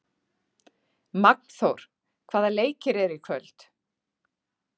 Magnþór, hvaða leikir eru í kvöld?